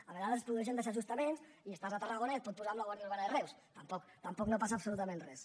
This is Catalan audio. a vegades es produeixen desajustos i estàs a tarragona i et pot posar amb la guàrdia urbana de reus tampoc no passa absolutament res